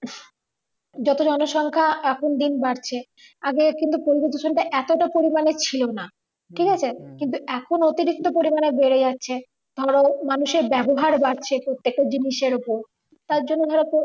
যত জনসংখ্যা এখন দিন বাড়ছে আগে কিন্তু পরিবেশ দূষণটা কিন্তু এতটা ছিল পরিমানের ছিল না ঠিক আছে কিন্তু এখন অতিরিক্ত পরিমানের বেড়ে যাচ্ছে ধরো মানুষের ব্যাবহার বাড়ছে প্রত্যেকটা জিনিসের ওপর তার জন্য ধরো